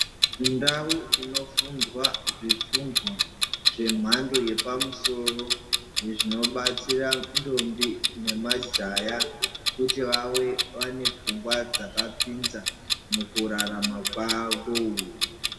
Ndau inofundwa zvifundws zvemhando yepamusoro zvinobatsira ndombi nemajaya kuti vave vane pfungwa dzakapinza mukurarama kwavo.